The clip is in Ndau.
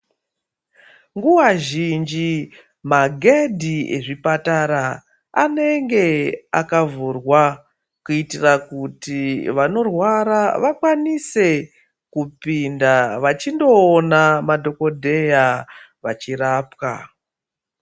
Nguwa zhinji maghedhi ezvipatara anenge akavhurwa kuitira kuti vanorwara vakwanise kupinda vachindoona madhokodheya vachirapwa.